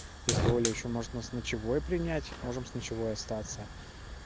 если оля ещё может нас с ночевой принять можем с ночевой остаться